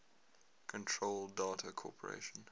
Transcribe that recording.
control data corporation